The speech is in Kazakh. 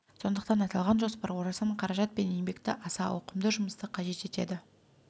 сондықтан аталған жоспар орасан қаражат пен еңбекті аса ауқымды жұмысты қажет етеді